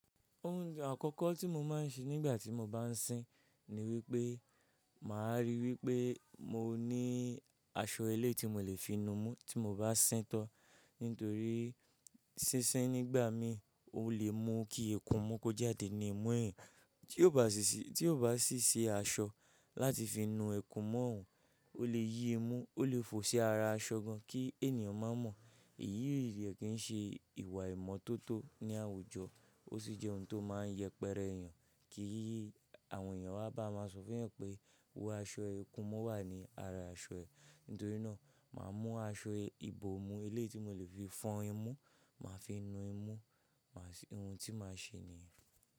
Ohun àkọ́kọ́ tí mo máa ń ṣe nígbà tí mo bá ń sín ni wípé màá ríi wípé mo ní aṣọ elé ti mo le fi nu mú tí mo bá sín tán. Nítorí sísín nígbà mí o le mú kí ikun'mú kó jàdé nì ìmú eeyan. Tí ó sì bá si si tí o ba ṣì ṣi aṣọ láti fi nu ikún'mu ọ̀hún, o le yí imú, o le fò si ara aṣọ gan kí ènìyàn má mọ. Èyí yi o de kí ń ṣe ìwà ìmọ́tótó ní àwùjọ, ó sì jẹ́ ohun tó máa ń yẹpẹrẹ èèyàn kí àwọn èèyàn wá bá máa sọ fún ẹ pé wo aṣọ ẹ ikún imu wà ní ara aṣọ ẹ. Nítorí náà, màá mú aṣọ ibòmú eléyi tí mo le fi fọn imú, màá fi nu imú, ohun tí màá ṣe nìyen.